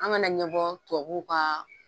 An ŋana ɲɛbɔɔ tubabuw kaa